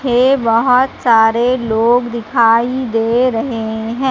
है बहोत सारे लोग दिखाई दे रहे हैं।